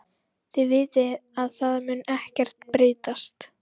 Þið vitið að það mun ekkert breytast.